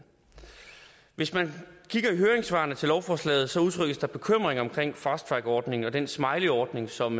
hvis man kigger i høringssvarene til lovforslaget der udtrykkes bekymring om fasttrackordningen og den smileyordning som